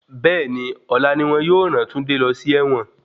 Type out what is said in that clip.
Bẹ́ẹ̀ni, ọ̀la ni wọn yóò ràn Túndé lọ sí ẹ̀wọ̀n.